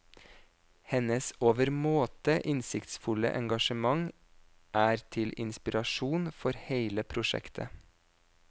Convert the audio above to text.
Hennes overmåte innsiktsfulle engasjement er til inspirasjon for hele prosjektet.